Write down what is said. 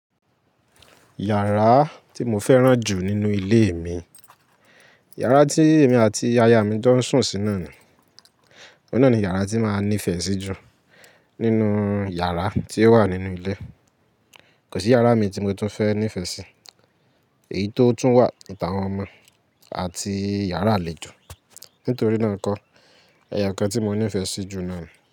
Iyàrá tí mo fẹ́ràn jù nínú ilé mi, yàrá tí èmi àti ìyá mi tó ń sùn sí ná ni, ọ̀un ni ni iyàrá tí máa nífẹ̀ẹ́ sí jù nínú iyàrá tí ó wà nínú ilé. Kò sí iyàrá mi tí mo tún fẹ́ nífẹ̀ẹ́ sí, èyí tó tún wà ìta àwọn ọmọ àti iyàrá àlejò. Nítorí náà kọ́, ẹyo kan tí mo nífẹ̀ẹ́ sí jù náà ni.